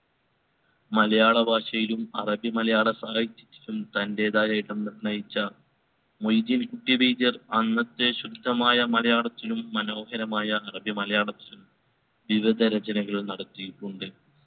മലയാള ഭാഷയിലും അറബി മലയാള സാഹിത്യത്തിലും തന്റേതായ ഇടം നിർണയിച്ച മൊയ്‌ദീൻ കുട്ടി വൈദ്യർ അന്നത്തെ ശുദ്ധമായ മലയാളത്തിലും മനോഹരമായ അറബി മലയാളത്തിലും വിവിധ രചനകൾ നടത്തിയിട്ടുണ്ട്